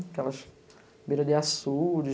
Aquelas beira-de-açude.